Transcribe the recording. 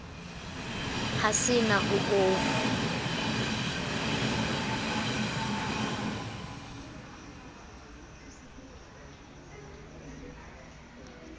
ha se na ho o